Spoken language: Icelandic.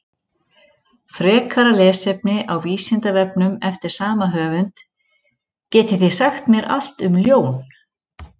Frekara lesefni á Vísindavefnum eftir sama höfund: Getið þið sagt mér allt um ljón?